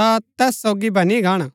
ता तैस सोगी बनी गाणा